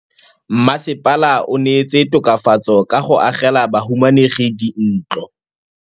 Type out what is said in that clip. Mmasepala o neetse tokafatsô ka go agela bahumanegi dintlo.